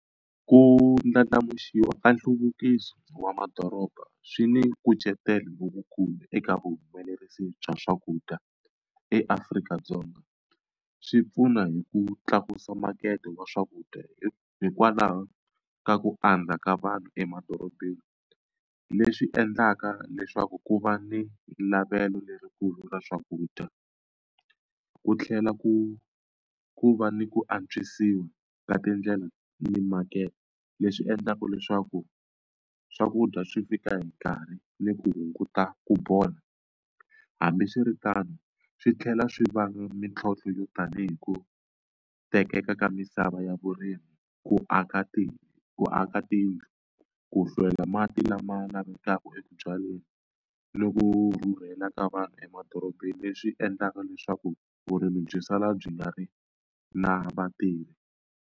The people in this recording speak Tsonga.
Ku ndlandlamuxiwa ka nhluvukiso wa madoroba swi ni nkucetelo lowukulu eka vuhumelerisi bya swakudya eAfrika-Dzonga swi pfuna hi ku tlakusa makete wa swakudya hi hikwalaho ka ku andza ka vanhu emadorobeni. Leswi endlaka leswaku ku va ni lavelo lerikulu ra swakudya ku tlhela ku ku va ni ku antswisiwa ka tindlela ni makete leswi endlaka leswaku swakudya swi fika hi nkarhi ni ku hunguta ku bola hambiswiritano swi tlhela swi vanga mitlhontlho yo tanihi ku tekeka ka misava ya vurimi ku aka ti ku aka tiko ku hlwela laha mati lama lavekaka eku byaleni ni ku rhurhela ka vanhu emadorobeni leswi endlaka leswaku vurimi byi sala byi nga ri na vatirhi.